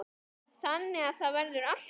Þannig að það verður alltaf.